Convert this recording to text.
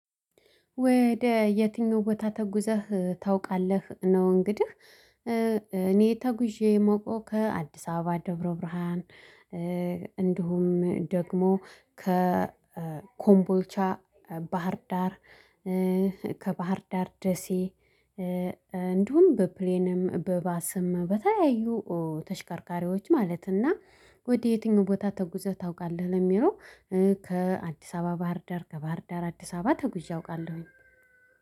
ወደ የትኛው ቦታ ተጉዘህ ታውቃለህ ነው? እንግዲህ እኔ ተጉዤ የማውቀው ከአዲስ አበባ ደብረ ብርሃን። እንዲሁም ደግሞ ከኮምቦልቻ ባህርዳር ከባህርዳር ደሴ። እንዲሁም በፕሌንም በባስም በተለያዩ ተሽከርካሪዎች ማለት። እና ወደ የትኛው ቦታ ተጉዘህ ታውቃለህ? ለሚለው ከአዲስ አበባ ባህር ዳር ከባህር ዳር አዲስ አበባ ተጉዤ አውቃለሁኝ።